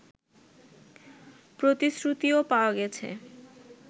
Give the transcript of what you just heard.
প্রতিশ্রুতিও পাওয়া গেছে